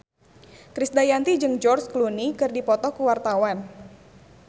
Krisdayanti jeung George Clooney keur dipoto ku wartawan